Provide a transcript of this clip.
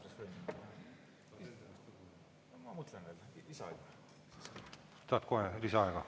Kas tahad kohe lisaaega?